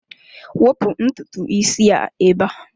Wepụ ntutu isi a ebe a!